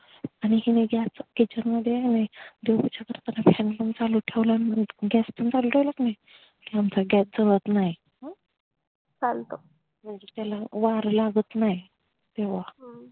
हिनी gas च kitchen मध्ये देवपूजा करताना fan पण चालु ठेवला अन gas पण चालु ठेवला का नाय आमचा gas जळत नाय चालतं म्हणजे त्याला वार लागत नाय तेव्हा